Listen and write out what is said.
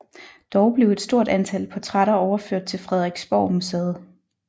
Dog blev et stort antal portrætter overført til Frederiksborgmuseet